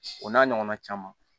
O n'a ɲɔgɔnna caman